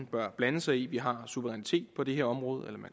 bør blande sig i vi har suverænitet på det her område eller man